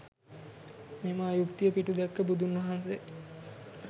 මෙම අයුක්තිය පිටුදැක්ක බුදුන් වහන්සේ